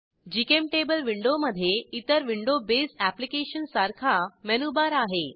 GChemTable विंडोमधे इतर window base अॅप्लिकेशनसारखा मेनुबार आहे